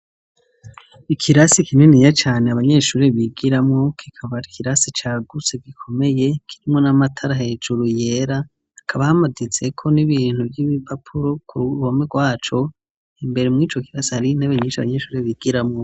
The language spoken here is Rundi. Ikirasi kininiya cane abanyeshuri bigiramwo, kikaba ari ikirasi cagutse gikomeye kirimwo n'amatara hejuru yera, hakaba hamaditseko n'ibintu vy'ibipapuro ku ruhome rwaco, imbere mw'ico kirasi hariyo intebe nyinshi abanyeshure bigiramwo.